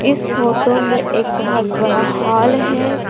इस फोटो में एक बहुत बड़ा हॉल है।